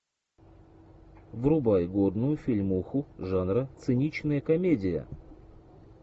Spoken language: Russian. врубай годную фильмуху жанра циничная комедия